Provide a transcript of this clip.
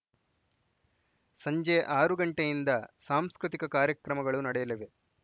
ಸಂಜೆ ಆರು ಗಂಟೆಯಿಂದ ಸಾಂಸ್ಕೃತಿಕ ಕಾರ್ಯಕ್ರಮಗಳು ನಡೆಯಲಿವೆ